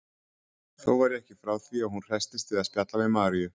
Þó var ég ekki frá því að hún hresstist við að spjalla við Maríu.